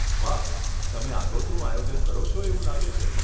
વાહ, તમે આગોતરું આયોજન કરો છો એવું લાગે છે.